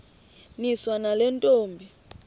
niswa nale ntombi